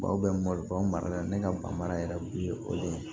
Baw bɛ mɔn mara la ne ka ban mara yɛrɛ tun ye o de ye